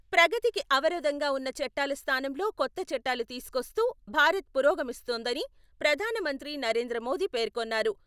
ప్రగతికి అవరోధంగా ఉన్న చట్టాల స్థానంలో కొత్త చట్టాలు తీసుకొస్తూ భారత్ పురోగమిస్తోందని ప్రధానమంత్రి నరేంద్రమోదీ పేర్కొన్నారు.